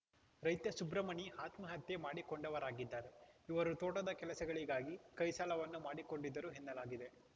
ರೈತ ಸುಬ್ರಮಣಿ ಆತ್ಮಹತ್ಯೆ ಮಾಡಿಕೊಂಡವರಾಗಿದ್ದಾರೆ ಇವರು ತೋಟದ ಕೆಲಸಗಳಿಗಾಗಿ ಕೈ ಸಾಲವನ್ನು ಮಾಡಿಕೊಂಡಿದ್ದರು ಎನ್ನಲಾಗಿದೆ